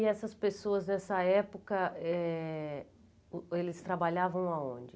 E essas pessoas, nessa época, eh eles trabalhavam aonde?